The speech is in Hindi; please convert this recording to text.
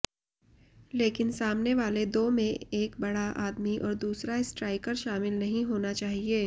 लेकिन सामने वाले दो में एक बड़ा आदमी और दूसरा स्ट्राइकर शामिल नहीं होना चाहिए